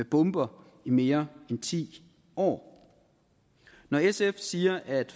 bomber i mere end ti år når sf siger at